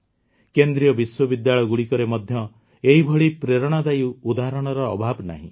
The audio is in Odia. କେନ୍ଦ୍ରୀୟ ବିଶ୍ୱବିଦ୍ୟାଳୟଗୁଡ଼ିକରେ ମଧ୍ୟ ଏହିଭଳି ପ୍ରେରଣାଦାୟୀ ଉଦାହରଣର ଅଭାବ ନାହିଁ